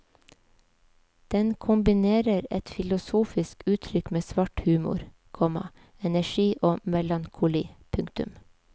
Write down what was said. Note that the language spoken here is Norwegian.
Den kombinerer et filosofisk uttrykk med svart humor, komma energi og melankoli. punktum